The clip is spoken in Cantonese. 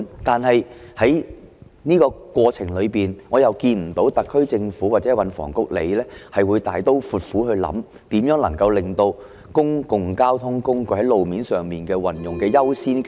但是，在這個過程裏，我看不到特區政府或運房局會大刀闊斧的考慮，如何能夠進一步擴大公共交通工具使用路面的優先權。